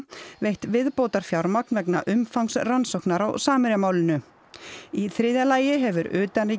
veitt viðbótarfjármagn vegna umfangs rannsóknar á Samherjamálinu í þriðja lagi hefur